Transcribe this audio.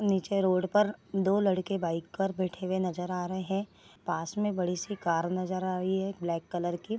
नीचे रोड पर दो लड़के बाइक कर बैठे हुए नज़र आ रहे हैं | पास में बड़ी सी कार नज़र आ रही है एक ब्लैक कलर की |